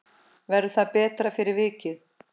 Verður það betra fyrir vikið?